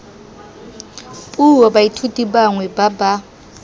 puo baithuti bangwe ba ba